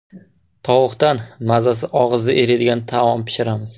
Tovuqdan mazasi og‘izda eriydigan taom pishiramiz.